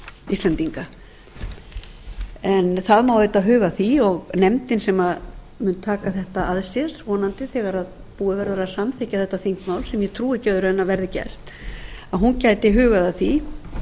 íslendinga það má auðvitað huga að því og nefndin sem mun taka þetta að sér vonandi þegar búið verður að samþykkja þetta þingmál sem ég trúi ekki öðru en verði gert getur hugað að því